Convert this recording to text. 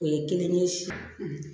O ye kelen ye si